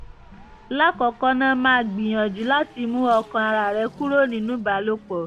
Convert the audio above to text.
lákọ̀ọ́kọ́ ná máa gbìyànjú láti mú ọkàn ara rẹ kúrò nínú ìbálòpọ̀